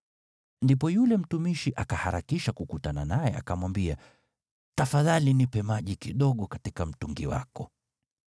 Ndipo yule mtumishi akaharakisha kukutana naye akamwambia, “Tafadhali nipe maji kidogo katika mtungi wako.”